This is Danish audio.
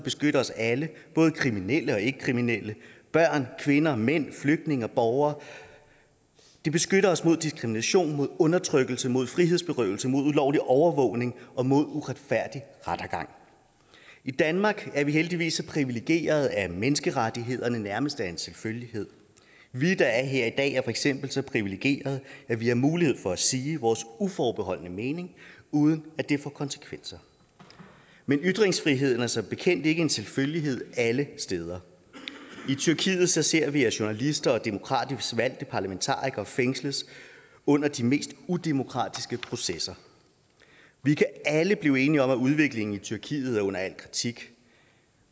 beskytter os alle både kriminelle og ikkekriminelle børn kvinder mænd flygtninge og borgere de beskytter os mod diskrimination mod undertrykkelse mod frihedsberøvelse mod ulovlig overvågning og mod uretfærdig rettergang i danmark er vi heldigvis så privilegerede at menneskerettighederne nærmest er en selvfølgelighed vi der er her i dag er for eksempel så privilegerede at vi har mulighed for at sige vores uforbeholdne mening uden at det får konsekvenser men ytringsfriheden er som bekendt ikke en selvfølgelighed alle steder i tyrkiet ser vi at journalister og demokratisk valgte parlamentarikere fængsles under de mest udemokratiske processer vi kan alle blive enige om at udviklingen i tyrkiet er under al kritik